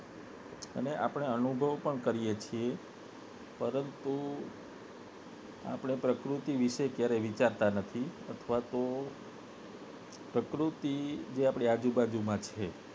અને આપને અનુભવ પણ કરીએ છીએ પરંતુ આપને પ્રકૃતિ વિશે ક્યારે વિચારતા નથી અથવા તો પ્રકૃતિ જે આપણી આજુબાજુ માં છે